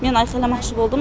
мен айқайламақшы болдым